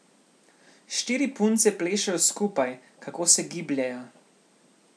Štiri punce plešejo skupaj, kako se gibljejo.